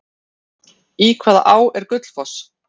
Í hvaða á er Gullfoss?